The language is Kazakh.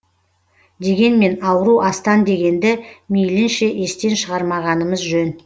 дегенмен ауру астан дегенді мейілінше естен шығармағанымыз жөн